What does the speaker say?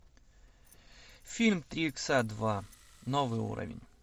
фильм три икса два новый уровень